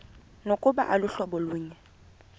nokuba aluhlobo lunye